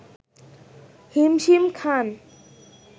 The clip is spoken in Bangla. হিমশিম খান